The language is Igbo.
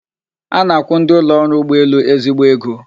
A na-akwụ ndị ụlọ ọrụ ụgbọelu ezigbo ego